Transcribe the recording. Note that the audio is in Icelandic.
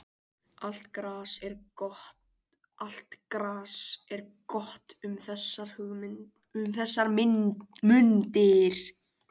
Allt gras er gott um þessar mundir.